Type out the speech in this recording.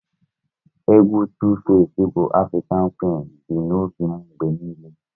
Egwu Tu-face bu Afrịkan Quin bi n'obi m mgbe niile